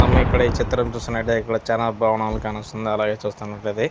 మనం ఇక్కడ ఈ చిత్రం చూస్తునటు ఇక్కడ చాలా భవనాలు కానొస్తున్నాయి. అలాగే చూస్తున్నట్టయితే --